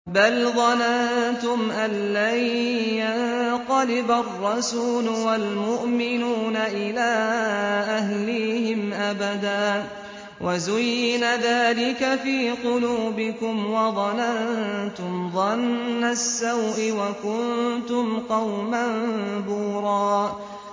بَلْ ظَنَنتُمْ أَن لَّن يَنقَلِبَ الرَّسُولُ وَالْمُؤْمِنُونَ إِلَىٰ أَهْلِيهِمْ أَبَدًا وَزُيِّنَ ذَٰلِكَ فِي قُلُوبِكُمْ وَظَنَنتُمْ ظَنَّ السَّوْءِ وَكُنتُمْ قَوْمًا بُورًا